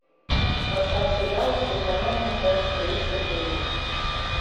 поставь сериал исчезновение часть тридцать девять